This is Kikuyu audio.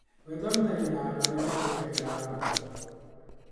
Wĩthomithagia na andũ arĩa magwĩkagĩra ngoro.